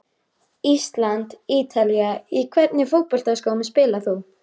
Ísland- Ítalía Í hvernig fótboltaskóm spilar þú?